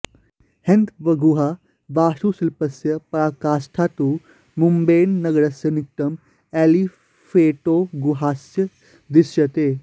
हैन्दवगुहाः वास्तुशिल्पस्य पराकाष्ठा तु मुम्बैनगरस्य निकटं एलिफेण्टोगुहासु दृश्यते